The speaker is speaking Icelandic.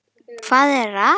. hvað er að.